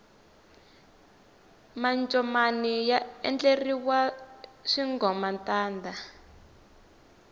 mancomani ya endleriwa swingomantanda